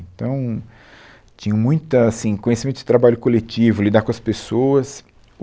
Então, tinham muita, assim, conhecimento de trabalho coletivo, lidar com as pessoas.